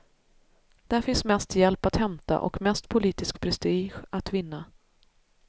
Där finns mest hjälp att hämta och mest politisk prestige att vinna.